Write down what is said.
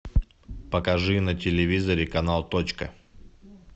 покажи на телевизоре канал точка